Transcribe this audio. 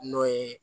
N'o ye